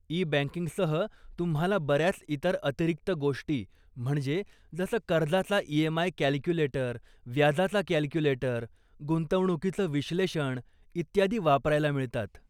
E बँकिंगसह तुम्हाला बऱ्याच इतर अतिरिक्त गोष्टी म्हणजे जसं कर्जाचा ईएमआय कॅल्क्युलेटर, व्याजाचा कॅल्क्युलेटर, गुंतवणुकीचं विश्लेषण इत्यादी वापरायला मिळतात.